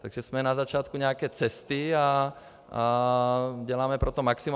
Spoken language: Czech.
Takže jsme na začátku nějaké cesty a děláme pro to maximum.